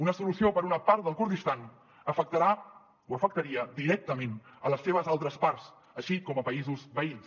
una solució per a una part del kurdistan afectarà o afectaria directament les seves altres parts així com a països veïns